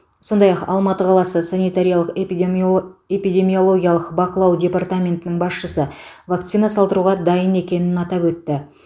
сондай ақ алматы қаласы санитариялық эпидемиолг эпидемиологиялық бақылау департаментінің басшысы вакцина салдыруға дайын екенін атап өтті